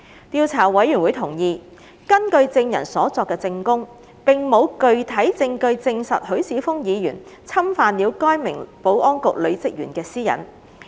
調查委員會同意，根據證人所作的證供，並無具體證據證實許智峯議員侵犯了該名保安局女職員的私隱。